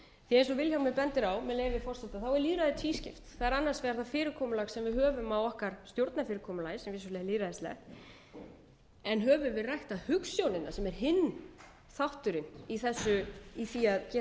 vilhjálmur bendir á með leyfi forseta er lýðræði tvískipt það er annars vegar það fyrirkomulag sem við höfum á okkar stjórnarfyrirkomulagi sem vissulega er lýðræðislegt en höfum við ræktað hugsjónina sem er hinn þátturinn í því að gera